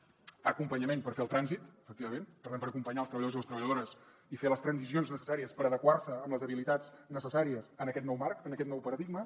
l’acompanyament per fer el trànsit efectivament per tant per acompanyar els treballadors i les treballadores i fer les transicions necessàries per adequar se amb les habilitats necessàries en aquest nou marc en aquest nou paradigma